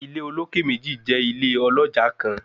Ile oloke meji jẹ ile oloja kan